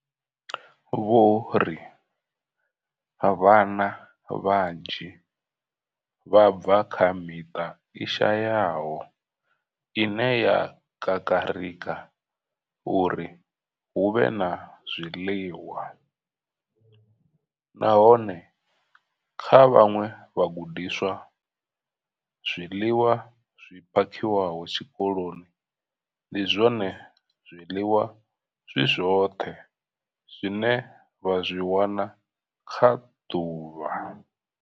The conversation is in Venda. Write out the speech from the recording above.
Vho ri vhana vhanzhi vha bva kha miṱa i shayaho ine ya kakarika uri hu vhe na zwiḽiwa, nahone kha vhaṅwe vhagudiswa, zwiḽiwa zwi phakhiwaho tshikoloni ndi zwone zwiḽiwa zwi zwoṱhe zwine vha zwi wana kha ḓuvha.